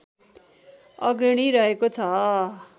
अग्रणी रहेको छ